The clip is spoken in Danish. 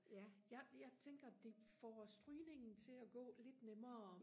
jeg jeg tænkter det får strygningen til og gå lidt nemmere